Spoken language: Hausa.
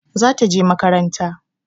Za ta je makaranta.